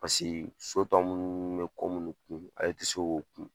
Paseke so tɔ munnu bɛ ko munnu kun ale ti se ko kun